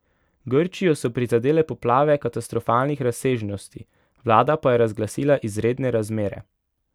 Grčijo so prizadele poplave katastrofalnih razsežnosti, vlada pa je razglasila izredne razmere.